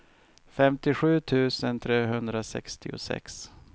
femtiosju tusen trehundrasextiosex